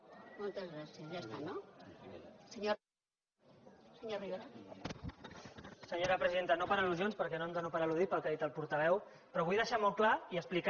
senyora presidenta no per al·lusions perquè no em dono per al·ludit pel que ha dit el portaveu però vull deixar molt clar i explicar